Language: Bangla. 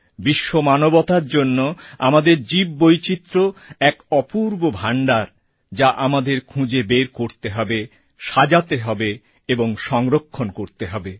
বিশ্বমানবতার জন্য আমাদের জীব বৈচিত্র্য এক অপূর্ব ভাণ্ডার যা আমাদের খুঁজে বের করতে হবে সাজাতে হবে এবং সংরক্ষণ করতে হবে